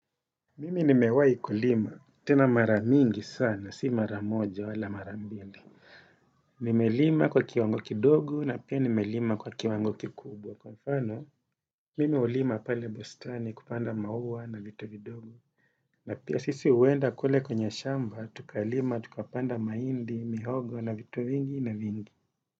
Mimi nimewahi kulima, tena maramingi sana, si maramoja wala marambili. Nime lima kwa kiwangoki dogu na pia nime lima kwa kiwangoki kubwa. Kwa mfano, mimi hulima pale bustani kupanda maua na vitu vidogo. Na pia sisi uenda kule kwenye shamba, tukalima, tukapanda mahindi, mihogo na vitu vingine vingi.